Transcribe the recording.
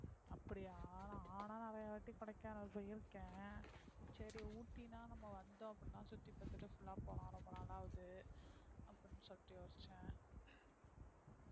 அப்டியா நாலாம் நிறைய வாட்டி கொடைக்கானலுக்கு போயிருக்கேன் சரி ஊட்டின்னா நம்ம வந்தோம் அப்படின்னா சுத்தி பாத்துட்டு full ஆ போனோம் ரொம்ப நாள் ஆகுது அப்படின்னு சொல்லிட்டு யோசிச்சேன்